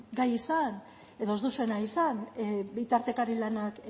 gai izan edo ez duzue nahi izan bitartekari lanak